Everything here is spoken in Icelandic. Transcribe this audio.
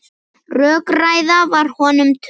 Rökræða var honum töm.